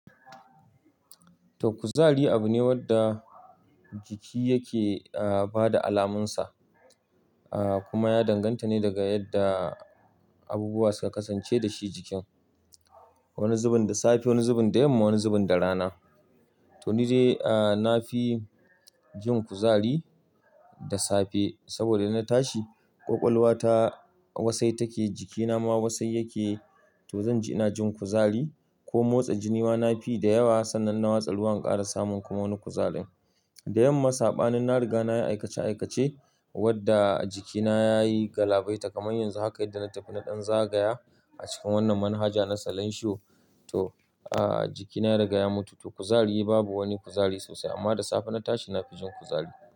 To kuzari abu ne wadda jiki yake, ah, ba da alamunsa, ah, kuma ya danganta ne daga yadda abubuwa suka kasance da shi jikin. Wani zubin da safe, wani zubin da yamma, wani zubin da rana. To ni dai, ah, na fi jin kuzari da safe, saboda idan na tashi, ƙwaƙwalwa ta wasai take, jikina ma wasai yake. To zan ji ina jin kuzari, ko motsa jini ma na fi yi da yawa, sannan in na watsa ruwa in ƙara samun kuma wani kuzarin. Da yamma saɓanin na riga na yi aikace aikace, wadda jikina ya yi galabaita, kamar yanzu haka yadda na tafi na ɗan zagaya, a cikin wannan manhaja na salanshiyo. To, ah, jikina ya riga ya mutu. To kuzari babu wani kuzari sosai, amma da safe na tashi, na fi jin kuzari.